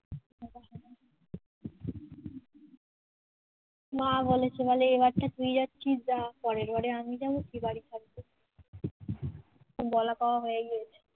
মা বলেছে বলে এবারটা তুই যাচ্ছিস যা পরের বারে, আমি যাব তুই বাড়ি থাকবি বলা কওয়া হয়ে গিয়েছে